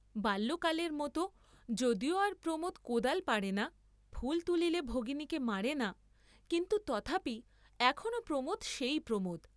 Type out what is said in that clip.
বাল্যকালের মত যদিও আর প্রমোদ কোদাল পাড়ে না, ফুল তুলিলে ভগিনীকে মারে না, কিন্তু তথাপি এখনও প্রমোদ সেই প্রমোদ।